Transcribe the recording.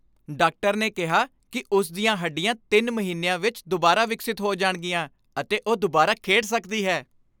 doctor ਨੇ ਕਿਹਾ ਕੀ ਉਸ ਦੀਆਂ ਹੱਡੀਆਂ ਤਿੰਨ ਮਹੀਨਿਆਂ ਵਿੱਚ ਦੁਬਾਰਾ ਵਿਕਸਿਤ ਹੋ ਜਾਣਗੀਆਂ ਅਤੇ ਉਹ ਦੁਬਾਰਾ ਖੇਡ ਸਕਦੀ ਹੈ